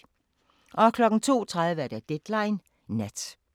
02:30: Deadline Nat